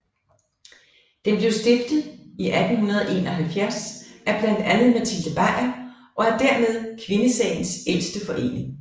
Den blev stiftet i 1871 af blandt andet Matilde Bajer og er dermed kvindesagens ældste forening